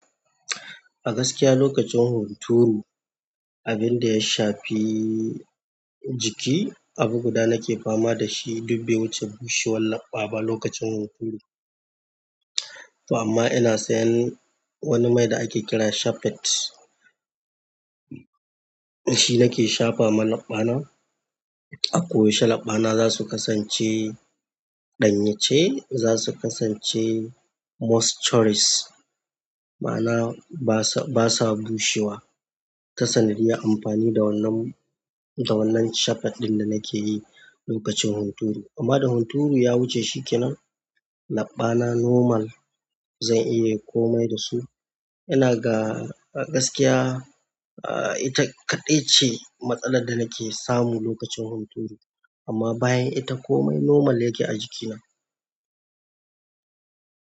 A gaskiya lokacin hunturu, abin da ya shafi jiki, abu guda nake fama da shi dubbe wuce bushewar laɓɓa ba lokacin hunturu. Amma ina sayan wani mai da ake kira shafeet. Shi nake shafa ma laɓɓana. A koyaushe laɓɓana za su kasance ɗanye ce, za su kasance moisturous, ma'ana ba sa, ba sa bushewa. Ta sanadiyar amfani da wannan, da wannan shafeet ɗin da nake yi lokacin hunturu. Amma da hunturu ya wuce shi kenan, laɓɓana normal zan iya yin komai da su. Ina ga gaskiya, ah ita kaɗai ce matsalar da nake samu lokacin hunturu. Amma bayan ita komai normal yake a jikina.